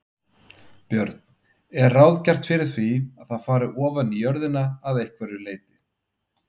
Björn: Er ráð gert fyrir því að það fari ofaní jörðina að einhverju leyti?